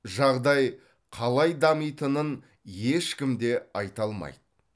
жағдай қалай дамитынын ешкім де айта алмайды